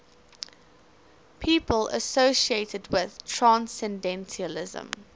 people associated with transcendentalism